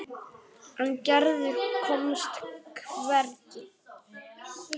En Gerður komst hvergi.